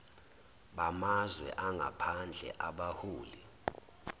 bamazwe angaphandle abaholi